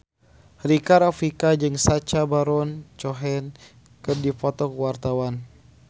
Rika Rafika jeung Sacha Baron Cohen keur dipoto ku wartawan